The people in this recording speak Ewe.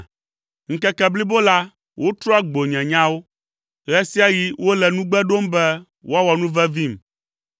Ŋkeke blibo la wotrɔa gbo nye nyawo, ɣe sia ɣi wole nugbe ɖom be woawɔ nuvevim.